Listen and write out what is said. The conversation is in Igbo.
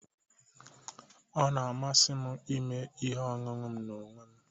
Ọ na-amasị m ime ihe ọṅụṅụ m n'onwe m